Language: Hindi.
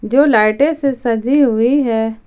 जो लाइटे से सजी हुई है।